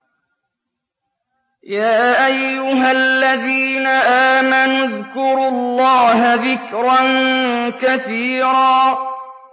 يَا أَيُّهَا الَّذِينَ آمَنُوا اذْكُرُوا اللَّهَ ذِكْرًا كَثِيرًا